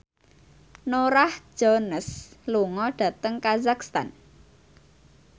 Norah Jones lunga dhateng kazakhstan